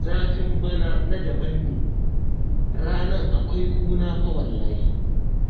Zafin bana na daban ne, ranar akwai ƙuna fa wallahi!